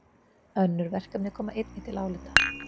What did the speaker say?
Önnur verkefni komi einnig til álita